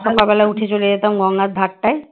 সকালবেলা উঠে চলে যেতাম গঙ্গার ধাক্কায় ধার টাই ।